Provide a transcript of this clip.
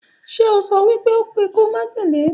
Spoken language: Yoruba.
Ṣe ọ so wípé ó kù ikú májèlé